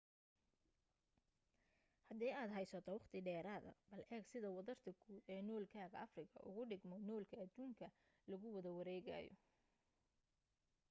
hadii aad haysato waqti dheeraada bal eeg sida wadarta guud ee noolkaaga afrika ugu dhigmo noolka adduunka lagu soo wada wareegayo